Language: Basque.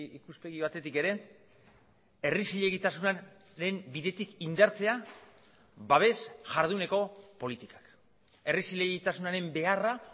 ikuspegi batetik ere herri zilegitasunaren bidetik indartzea babes jarduneko politikak herri zilegitasunaren beharra